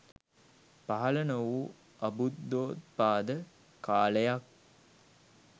පහළ නොවූ අබුද්ධෝත්පාද කාලයක්.